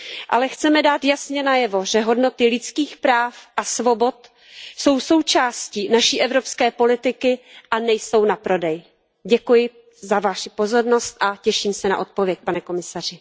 ne. Ale chceme dát jasně najevo, že hodnoty lidských práv a svobod jsou součástí naší evropské politiky a nejsou na prodej. Děkuji za Vaši pozornost a těším se na odpověď, pane komisaři.